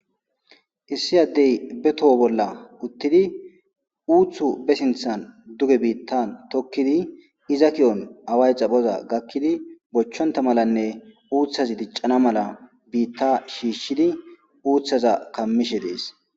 issi addey be toho bolla uttidi uuthu be sinthan duge biittan tokkidi iza ki7on away xaphoza gakkidi bochchonta malanne uuthazi diccana mala biitta shiishshidi uuthaza kammishe dees